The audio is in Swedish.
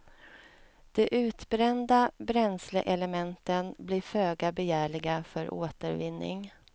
De utbrända bränsleelementen blir föga begärliga för återvinning.